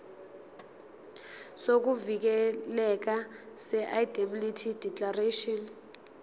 sokuvikeleka seindemnity declaration